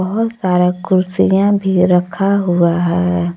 बहुत सारा कुर्सियां भी रखा हुआ है।